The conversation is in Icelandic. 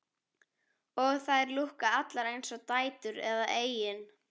Og þær lúkka allar eins og dætur eða eigin